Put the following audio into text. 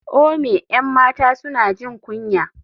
ome 'yan mata suna jin kunya.